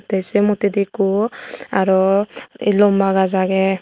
te se moddedi ekku aro lomba gaj age.